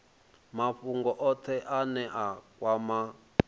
mafhungo othe ane a kwama